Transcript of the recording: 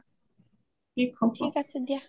ঠিক আছে দিয়া